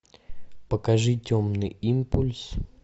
покажи темный импульс